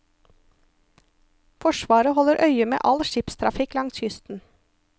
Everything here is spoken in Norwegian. Forsvaret holder øye med all skipstrafikk langs kysten.